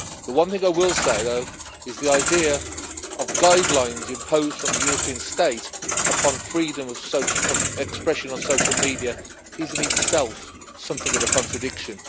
The one thing I will say, though, is that the idea of guidelines imposed from the European state upon freedom of expression on social media is in itself something of a contradiction.